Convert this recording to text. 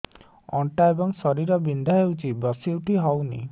ଅଣ୍ଟା ଏବଂ ଶୀରା ବିନ୍ଧା ହେଉଛି ବସି ଉଠି ହଉନି